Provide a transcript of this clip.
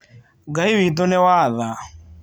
Ngai witũ nĩ wa tha.